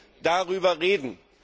legen. Wir müssen darüber